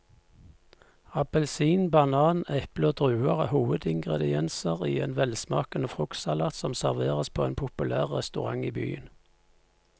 Appelsin, banan, eple og druer er hovedingredienser i en velsmakende fruktsalat som serveres på en populær restaurant i byen.